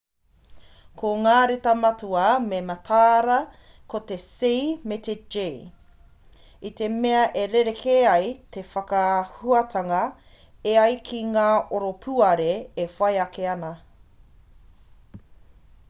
ko ngā reta matua me mataara ko te c me te g i te mea e rerekē ai te whakahuatanga e ai ki te oropuare e whai ake ana